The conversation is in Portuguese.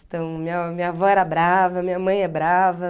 Então, minha minha avó era brava, minha mãe é brava.